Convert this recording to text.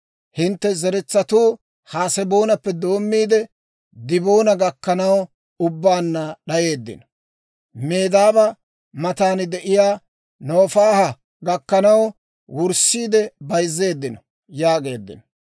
Hintte zeretsatuu Haseboonappe doommiide, Diboona gakkanaw ubbaanna d'ayeeddino. Medaaba matan de'iyaa Nofaaha gakkanaw wurssiide bayzzeeddino» yaageeddino.